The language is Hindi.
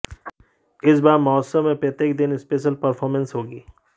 इस बार महोत्सव में प्रत्येक दिन स्पेशल परफॉर्मेंस होगी